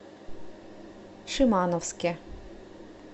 шимановске